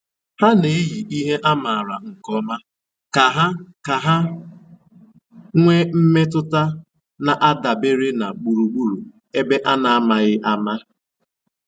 Ha na-èyì ihe a mààra nkè ọ̀ma kà ha kà ha nwéé mmètụ́tà na-àdabèrè na gbùrùgbùrù ébè a na-àmàghị́ àma.